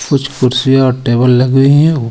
कुछ कुर्सी और टेबल लगी हुई हे.